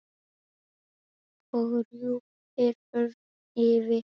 og drúpir örn yfir.